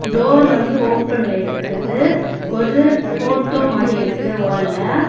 Door வந்து ஓபன்ல இருக்குது ஒரு போட்டோ மாட்டிருக்கு வால்ல .